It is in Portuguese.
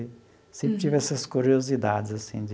Sempre tive essas curiosidades assim de...